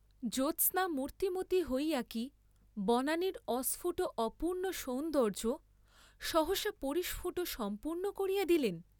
জ্যোৎস্না মূর্ত্তিমতী হইয়া কি বনানীর অস্ফূট অপূর্ণ সৌন্দর্য্য সহসা পরিস্ফুট সম্পূর্ণ করিয়া দিলেন?